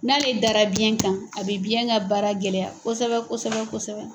N'ale dara biyɛn kan a bi biyɛn ka baara gɛlɛya kosɛbɛ kosɛbɛ kosɛbɛ.